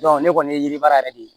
ne kɔni ye yiri baara yɛrɛ de ye